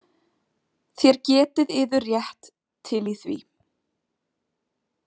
Þér getið yður rétt til í því